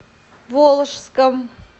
волжском